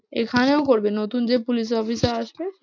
এখানেও করবে নতুন police officer আসবে।